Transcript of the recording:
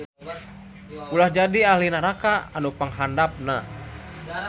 Ulah jadi ahli naraka nu panghandapna